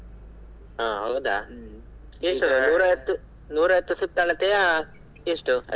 ಹಾ ಹೌದಾ ನೂರೈವತ್ತು ಸುತ್ತಳತೆಯ ಎಷ್ಟು.